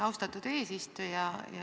Austatud eesistuja!